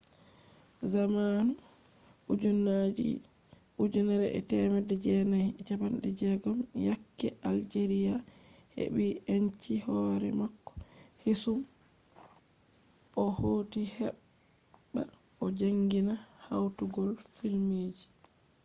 zamanu 1960 yakke algeria heɓɓi enci hoore mako keesum o hooti heɓɓba o jaangina hawtugo filmji